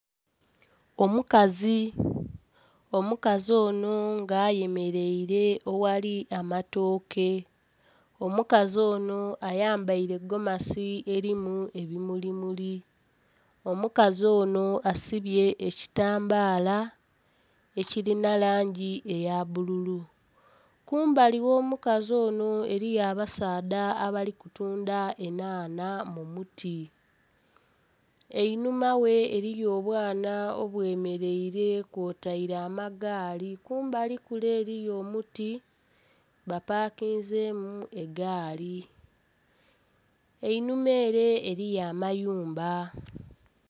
Omukazi, omukazi ono nga ayemeleire oghali amatooke. Omukazi ono ayambaire gomasi elimu ebimulimuli. Omukazi ono asibye ekitambaala ekilina langi eya bbululu. Kumbali gh'omukazi ono eliyo abasaadha abali kutunda enhanha mu muti. Einhuma ghe eliyo obwana obwemeleire kwotaire amagaali. Kumbali kule eliyo omuti bapakinzemu egaali. Einhuma ere eliyo amayumba.